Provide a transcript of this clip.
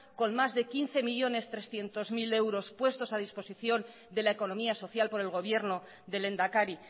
con más de quince millónes trescientos mil euros puestos a disposición de la economía social por el gobierno del lehendakari